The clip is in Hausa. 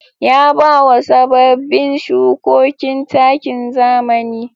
Ya bawa sababbin shukokin takin zamani.